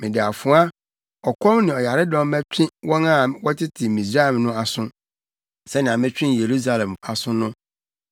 Mede afoa, ɔkɔm ne ɔyaredɔm bɛtwe wɔn a wɔtete Misraim no aso, sɛnea metwee Yerusalem aso no.